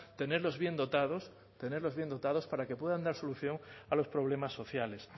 tenerlos bien dotados tenerlos bien dotados para que puedan dar solución a los problemas sociales